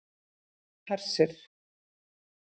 Hersir